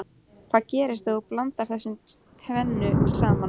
Hvað gerist ef þú blandar þessu tvennu saman?